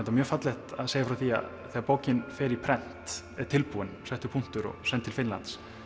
mjög fallegt að segja frá því að þegar bókin fer í prent er tilbúin settur punktur og send til Finnlands